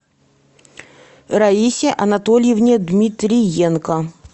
раисе анатольевне дмитриенко